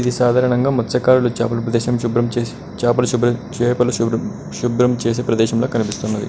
ఇది సాధారణంగా మత్స్యకారులు చేపలు ప్రదేశం శుభ్రం చేసి చేపలు శుభ్రం చేపలు శుభ్రం శుభ్రం చేసే ప్రదేశంలా కనిపిస్తున్నది.